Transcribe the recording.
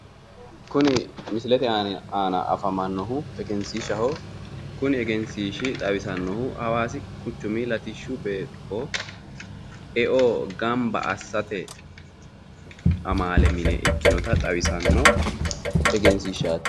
Kuni misilete aana afamannohu egensiishshaho kuni egensiishshi xawisannohu Hawaasi quchumi latishshu beeqqo e"o ganba assate amaale mine ikkinota xawisanno egensiishshaati